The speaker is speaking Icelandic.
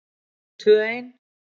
Við erum tvö ein.